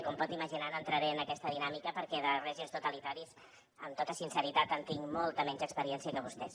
com pot imaginar no entraré en aquesta dinàmica perquè de règims totalitaris amb tota sinceritat en tinc molta menys experiència que vostès